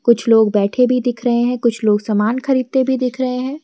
कुछ लोग बैठे भी दिख रहे हैं कुछ लोग सामान खरीदते भी दिख रहे हैं।